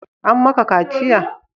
An ma ka kaciya?